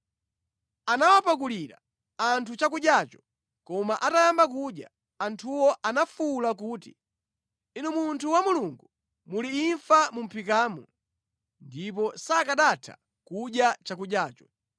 Anawapakulira anthu chakudyacho, koma atayamba kudya, anthuwo anafuwula kuti, “Inu munthu wa Mulungu muli imfa mu mʼphikamu!” Ndipo sakanatha kudya chakudyacho.